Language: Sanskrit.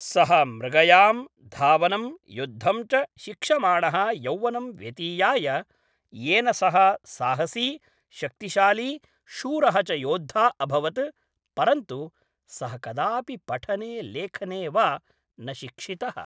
सः मृगयां, धावनं, युद्धं च शिक्षमाणः यौवनं व्यतीयाय, येन सः साहसी, शक्तिशाली, शूरः च योद्धा अभवत्, परन्तु सः कदापि पठने लेखने वा न शिक्षितः।